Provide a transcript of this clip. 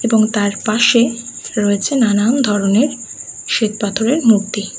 এবং তার পাশে রয়েছে নানান ধরণের শ্বেতপাথরের মূর্তি।